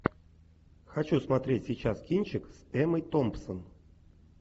хочу смотреть сейчас кинчик с эммой томпсон